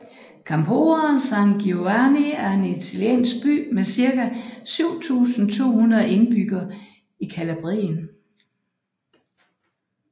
Campora San Giovanni er en italiensk by med cirka 7200 indbyggere i Calabrien